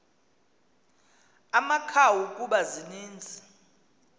amakhawu kuba zininzi